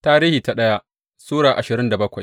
daya Tarihi Sura ashirin da bakwai